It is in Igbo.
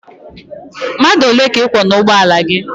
Mmadụ ole ka ị kwọ n'ugbọala gị?